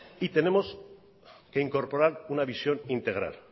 y tenemos que incorporar una visión integral